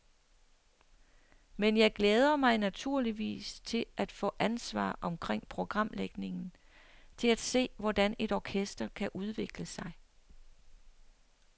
Men jeg glæder mig naturligvis til at få ansvar omkring programlægningen, til at se, hvordan et orkester kan udvikle sig.